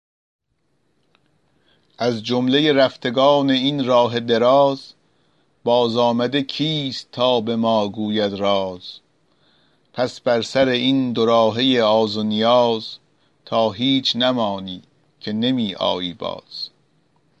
از جمله رفتگان این راه دراز بازآمده کیست تا به ما گوید راز پس بر سر این دو راهه آز و نیاز تا هیچ نمانی که نمی آیی باز